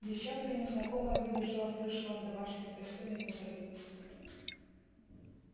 девчонка незнакомая выбежала в плюшевом домашнем костюме мусор вынести